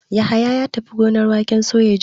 Yahaya ya tafi gonar waken soya jiya.